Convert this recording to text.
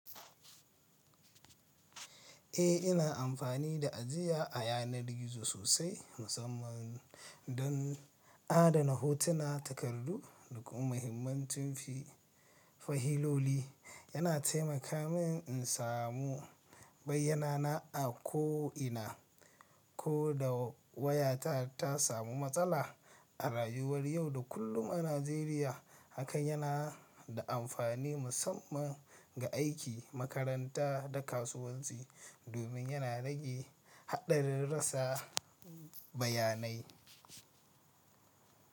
Eh, ina amfani da ajiya a yanar gizo sosai, musamman don adana hotuna, takardu da kuma muhimmancin fi-fahloli. Yana taimaka min in samu bayyana na a ko'ina, ko da wayata ta samu matsala. A rayuwar yau da kullum a Najeriya, hakan yana da amfani musamman ga aiki, makaranta da kasuwanci, domin yana rage haɗarin rasa bayanai.